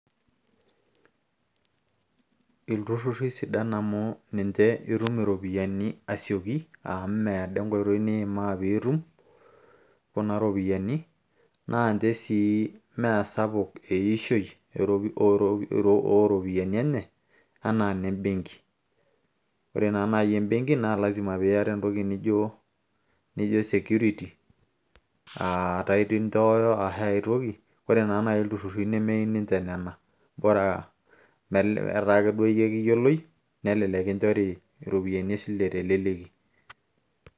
Ilturruri isidan amu ninche itum iropiyiani asioki amu meedo enkoitoi niimaa piitum kuna ropiyiani naa ninche sii meesapuk eishoi ooropiyiani enye anaa inembenki ore naa naaji embenki naa lasima piiyata entoki nijo security aa title inchooyo ashu ae toki ore naa naaji ilturruri nemeyieu ninche nena bora metaa ake duo yie ekiyioloi nelelek kinchori iropiyiani esile teleleki.